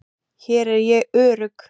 Hér er ég örugg.